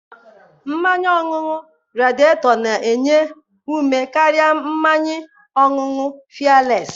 Mmanya ọṅụṅụ Radieto na-enye ume karịa mmanya ọṅụṅụ fịeles